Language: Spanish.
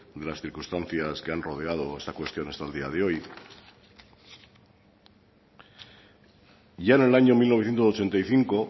de las circunstancias que han rodeado esta cuestión hasta el día de hoy ya en el año mil novecientos ochenta y cinco